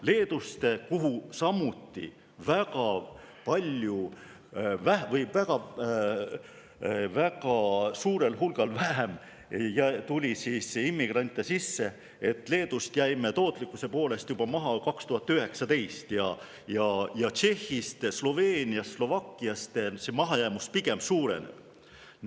Leedust, kuhu samuti tuli immigrante sisse väga palju vähem, jäime tootlikkuse poolest juba 2019. aastal maha ning Tšehhist, Sloveeniast ja Slovakkiast mahajäämus selles vallas pigem suureneb.